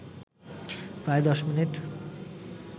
প্রায় ১০ মিনিট